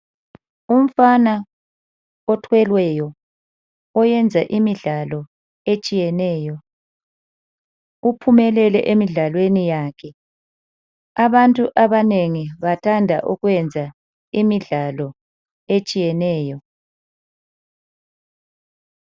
Umfana othweleyo oyenza imidlalo etshiyeneyo uphumelele emidlalweni yakhe abantu abanengi bathanda ukuyenza imidlalo etshiyeneyo